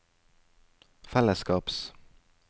fellesskaps